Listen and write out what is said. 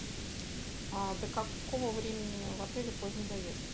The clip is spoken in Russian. до какого времени в отеле поздний заезд